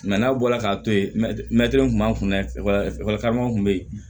n'a bɔra k'a to yen kun b'an kun dɛ ekɔli karamɔgɔ kun be yen